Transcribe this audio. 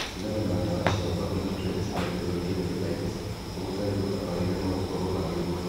Gũtigana na ndawa cia barbiturates na benzodiazepines gũtarĩ gũtabarĩre no gũkorwo arĩ ũgwati